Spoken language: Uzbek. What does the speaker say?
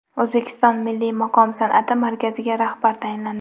O‘zbek milliy maqom san’ati markaziga rahbar tayinlandi.